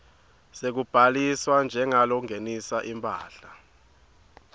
sekubhaliswa njengalongenisa imphahla